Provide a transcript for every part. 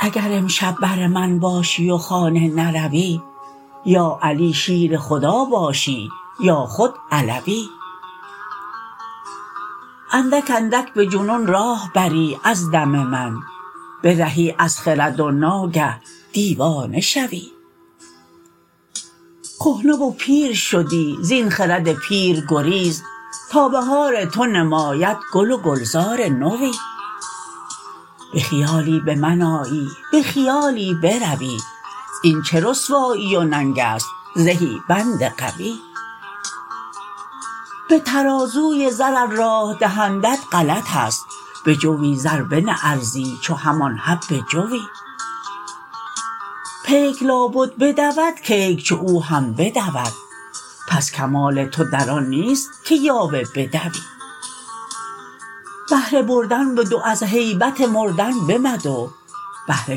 اگر امشب بر من باشی و خانه نروی یا علی شیر خدا باشی یا خود علوی اندک اندک به جنون راه بری از دم من برهی از خرد و ناگه دیوانه شوی کهنه و پیر شدی زین خرد پیر گریز تا بهار تو نماید گل و گلزار نوی به خیالی به من آیی به خیالی بروی این چه رسوایی و ننگ است زهی بند قوی به ترازوی زر ار راه دهندت غلط است بجوی زر بنه ارزی چو همان حب جوی پیک لابد بدود کیک چو او هم بدود پس کمال تو در آن نیست که یاوه بدوی بهر بردن بدو از هیبت مردن بمدو بهر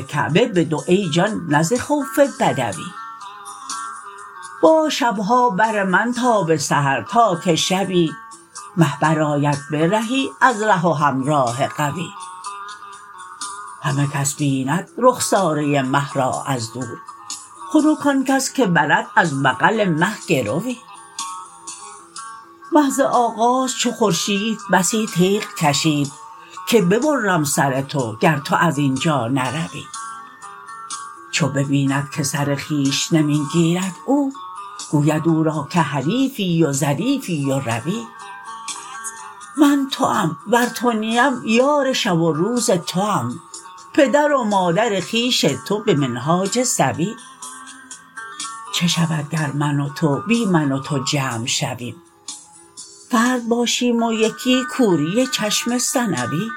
کعبه بدو ای جان نه ز خوف بدوی باش شب ها بر من تا به سحر تا که شبی مه برآید برهی از ره و همراه غوی همه کس بیند رخساره مه را از دور خنک آن کس که برد از بغل مه گروی مه ز آغاز چو خورشید بسی تیغ کشد که ببرم سر تو گر تو از این جا نروی چون ببیند که سر خویش نمی گیرد او گوید او را که حریفی و ظریفی و روی من توام ور تو نیم یار شب و روز توام پدر و مادر و خویش تو به منهاج سوی چه شود گر من و تو بی من و تو جمع شویم فرد باشیم و یکی کوری چشم ثنوی